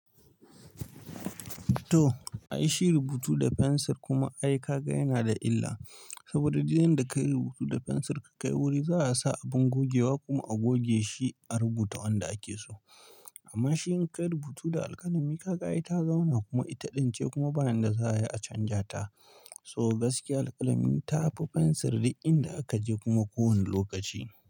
To, ai shi rubutu da fensir kuma ai kaka yana da illa. Saboda duk inda ka yi rubutu da fensir ka kai wuri za a sa abin gogewa kuma a goge shi a rubuta wanda ake so. Amma shi in ka yi rubutu da alƙalami kaka ita zauna kuma ita ɗince kuma ba yanda za ai a canja ta. So gaskiya alƙalami ta fi fensir dukinda aka je kuma ko wani lokaci.